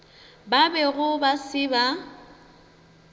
ba bego ba se ba